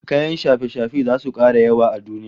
Kayan shafe-shafe zasu kara yawa a duniya